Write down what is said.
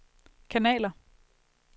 kanaler